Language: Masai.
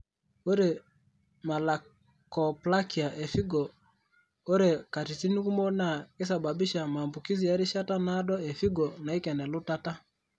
Ore Malakoplakia e figo ore katitin kumok naa keisababisha maambukizi e rishata naado e figo naaken elutata.